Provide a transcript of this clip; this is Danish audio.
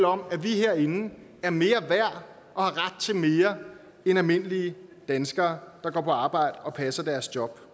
om at vi herinde er mere værd og har ret til mere end almindelige danskere der går på arbejde og passer deres job